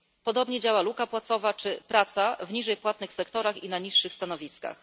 Podobnie działa luka płacowa czy praca w gorzej płatnych sektorach i na niższych stanowiskach.